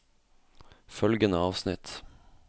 Følgende avsnitt